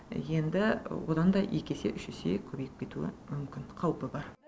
енді одан да екі есе үш есе көбейіп кетуі мүмкін қаупі бар